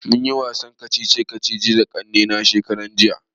Mun yi wasan kacici kacici da kannena shekaran jiya